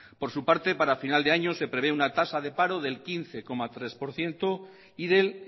por su parte para final de año se prevé una tasa de paro del quince coma tres por ciento y del